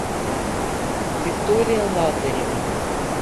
виктория лазарева